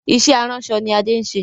Ìṣe aránṣọ ni Adé ń ṣe.